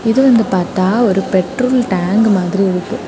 இது வந்து பாத்தா ஒரு பெட்ரோல் டேங்க் மாதிரி இருக்கு.